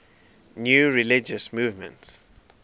new religious movements